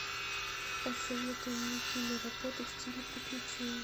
посоветуй мне киноработу в стиле приключений